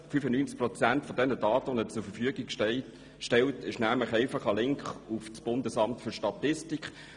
95 Prozent der Daten, die der Bund zur Verfügung stellt, sind einfach ein Link auf das Bundesamt für Statistik.